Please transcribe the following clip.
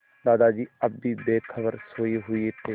दादाजी अब भी बेखबर सोये हुए थे